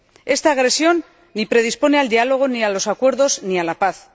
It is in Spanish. Esta agresión ni predispone al diálogo, ni a los acuerdos, ni a la paz